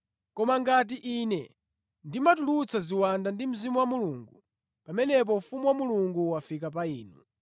Koma ngati Ine ndimatulutsa ziwanda ndi Mzimu wa Mulungu, pamenepo ufumu wa Mulungu wafika pa inu.